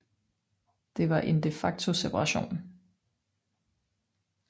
Det var en de facto separation